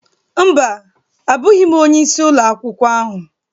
Mba, abụghị m onye isi Ụlọ akwụkwọ ahụ